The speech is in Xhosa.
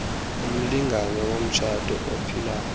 umlingane womtshato ophilayo